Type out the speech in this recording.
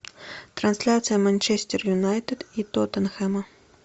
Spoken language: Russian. трансляция манчестер юнайтед и тоттенхэма